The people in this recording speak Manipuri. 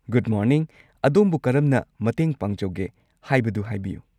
ꯒꯨꯗ ꯃꯣꯔꯅꯤꯡ, ꯑꯗꯣꯝꯕꯨ ꯀꯔꯝꯅ ꯃꯇꯦꯡ ꯄꯥꯡꯖꯧꯒꯦ ꯍꯥꯏꯕꯗꯨ ꯍꯥꯏꯕꯤꯌꯨ꯫